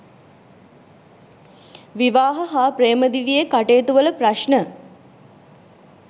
විවාහ හා ප්‍රේම දිවියේ කටයුතුවල ප්‍රශ්න